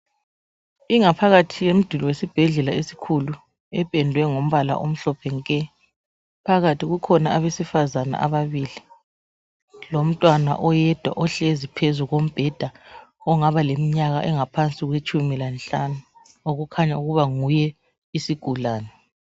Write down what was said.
Ingaphakathi yemduli wesibhedlela esikhulu ependwe ngombala omhlophe nke. Phakathi kukhona abesifazana ababili lomntwana oyedwa ohlezi phezu kombheda ongaba lemnyaka engaphansi kwetshumi lanhlanu okukhanya ukuba nguye isigulane.